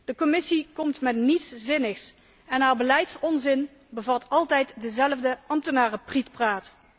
De Commissie komt met niets zinnigs en haar beleidsonzin bevat altijd dezelfde ambtenarenprietpraat.